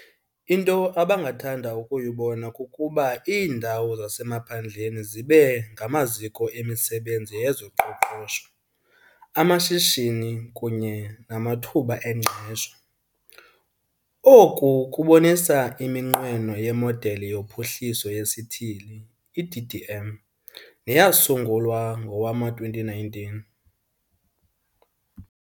Into abangathanda ukuyibona kukuba iindawo zasemaphandleni zibe ngamaziko emisebenzi yezoqoqosho, amashishini kunye namathuba engqesho. Oku kubonisa iminqweno yeModeli yoPhuhliso yeSithili, i-DDM, neyasungulwa ngowama-2019.